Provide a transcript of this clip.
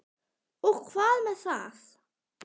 Og hvað með þá?